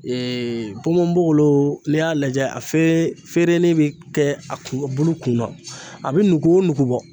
ponponpogolon n'i y'a lajɛ a fere fereni bɛ kɛ a kun bulu kunna a bɛ nugu o nugu bɔ